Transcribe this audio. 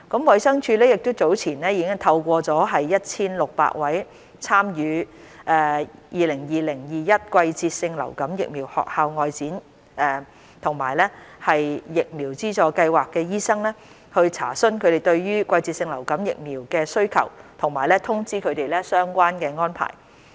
衞生署早前已聯絡超過 1,600 位參與 "2020-2021 季節性流感疫苗學校外展"及疫苗資助計劃的醫生，查詢他們對季節性流感疫苗的需求和通知他們相關的安排。